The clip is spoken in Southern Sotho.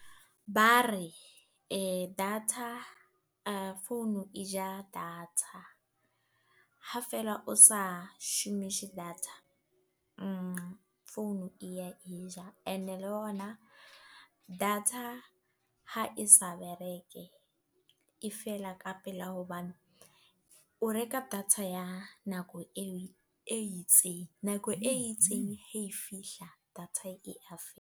Ba re, data founu e ja data. Ha fela o sa shomishe data. Founu e ya e ja. E ne le hona, data ha e sa bereke e fela ka pela. Hobane, o reka data ya nako eo e itseng. Nako e itseng ha e fihla data e ya fela.